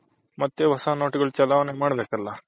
ಮತ್ತೆ ಹೊಸ ನೋಟೆಗಲ್ಲನ ಚಲನೆ ಮಾಡ್ಬೇಕ್ ಅಲ್ವ